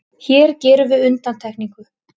Hér gerum við undantekningu.